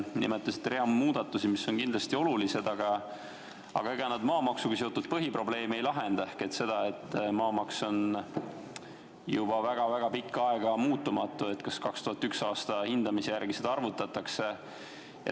Te nimetasite hulga muudatusi, mis on kindlasti olulised, aga ega need ei lahenda maamaksuga seotud põhiprobleemi ehk seda, et maamaks on olnud juba väga-väga pikka aega muutumatu – 2001. aasta hindamise järgi seda vist arvutatakse.